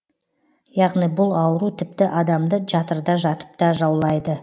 яғни бұл ауру тіпті адамды жатырда жатыпта жаулайды